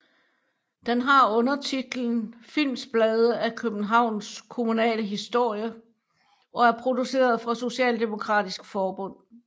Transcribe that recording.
Den har undertitlen Filmsblade af Københavns kommunale Historie og er produceret for Socialdemokratisk Forbund